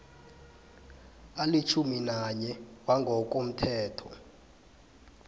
alitjhumi nanye wangokomthetho